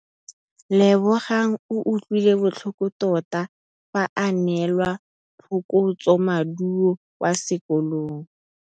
Lebogang o utlwile botlhoko tota fa a neelwa phokotsômaduô kwa sekolong.